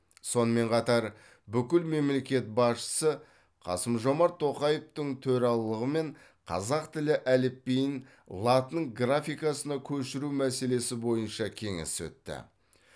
сонымен қатар бүкіл мемлекет басшысы қасым жомарт тоқаевтың төрағалығымен қазақ тілі әліпбиін латын графикасына көшіру мәселесі бойынша кеңес өтті